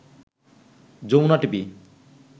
Jamuna TV